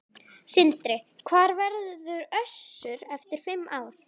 Sindri: Hvar verður Össur eftir fimm ár?